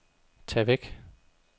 tag væk